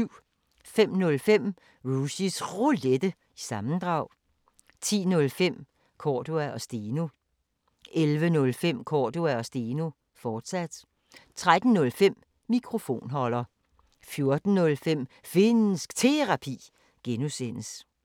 05:05: Rushys Roulette – sammendrag 10:05: Cordua & Steno 11:05: Cordua & Steno, fortsat 13:05: Mikrofonholder 14:05: Finnsk Terapi (G)